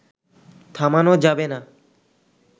থামানো যাবে না